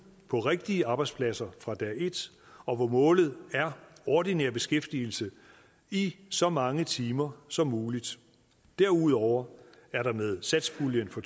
på rigtige arbejdspladser fra dag et og hvor målet er ordinær beskæftigelse i så mange timer som muligt derudover er der med satspuljen for